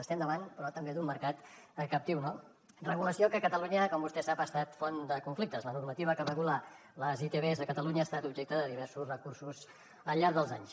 estem davant però també d’un mercat captiu no regulació que a catalunya com vostè sap ha estat font de conflictes la normativa que regula les itvs a catalunya ha estat objecte de diversos recursos al llarg dels anys